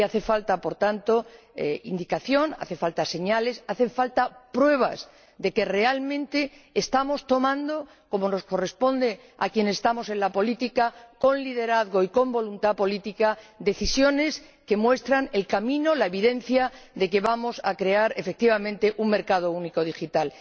Y hace falta, por tanto, indicación, hacen falta señales, hacen falta pruebas de que realmente estamos tomando —como nos corresponde a quienes estamos en la política, con liderazgo y con voluntad política— decisiones que muestran el camino, la evidencia de que vamos a crear efectivamente un mercado único digital.